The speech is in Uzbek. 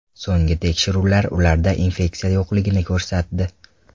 So‘nggi tekshiruvlar ularda infeksiya yo‘qligini ko‘rsatdi.